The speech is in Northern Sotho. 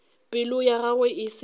pelo ya gagwe e se